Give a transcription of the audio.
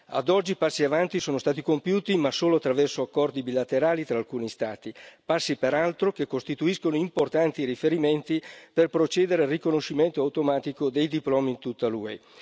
Ad oggi passi avanti sono stati compiuti, ma solo attraverso accordi bilaterali tra alcuni Stati, passi peraltro che costituiscono importanti riferimenti per procedere al riconoscimento automatico dei diplomi in tutta l'UE.